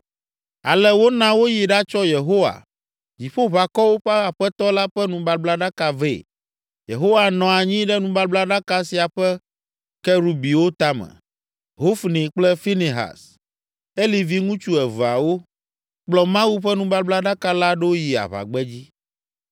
Ale wona woyi ɖatsɔ Yehowa, Dziƒoʋakɔwo ƒe Aƒetɔ la ƒe nubablaɖaka vɛ, Yehowa nɔ anyi ɖe nubablaɖaka sia ƒe Kerubiwo tame. Hofni kple Finehas, Eli viŋutsu eveawo, kplɔ Mawu ƒe nubablaɖaka la ɖo yi aʋagbedzi.